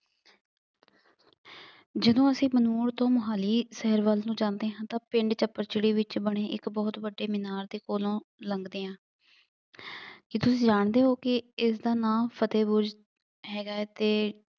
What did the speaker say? ਜਦੋਂ ਅਸੀਂ ਬੰਨੂੜ ਤੋਂ ਮੁਹਾਲੀ ਸ਼ਹਿਰ ਵੱਲ ਨੂੰ ਜਾਂਦੇ ਹਾਂ ਤਾਂ ਪਿੰਡ ਚੱਪੜਚਿੜੀ ਵਿੱਚ ਬਣੇ ਇੱਕ ਬਹੁਤ ਵੱਡੇ ਮੀਨਾਰ ਦੇ ਕੋਲੋਂ ਲੰਘਦੇ ਹਾਂ। ਕੀ ਤੁਸੀਂ ਜਾਣਦੇ ਹੋ ਕਿ ਇਸਦਾ ਨਾਂ ਫਤਹਿ ਬੁਰਜ ਹੈਗਾ ਹੈ ਅਤੇ